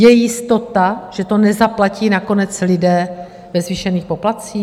Je jistota, že to nezaplatí nakonec lidé ve zvýšených poplatcích?